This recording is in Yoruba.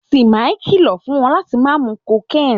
Timmy kìlọ̀ fún wọn láti má mu cocaine.